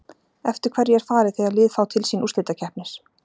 Eftir hverju er farið þegar lið fá til sín úrslitakeppnir?